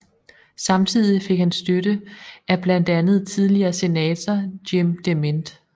Samtidig fik han støtte af blandt andet tidligere senator Jim DeMint